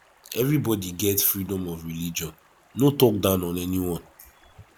everybody get freedom of religion no talk down on any one